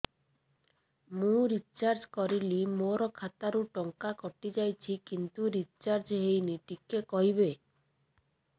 ମୁ ରିଚାର୍ଜ କରିଲି ମୋର ଖାତା ରୁ ଟଙ୍କା କଟି ଯାଇଛି କିନ୍ତୁ ରିଚାର୍ଜ ହେଇନି ଟିକେ କହିବେ